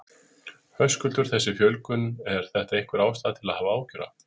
Höskuldur: Þessi fjölgun, er þetta einhver ástæða til að hafa áhyggjur af?